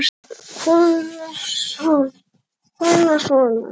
Kona: Svona?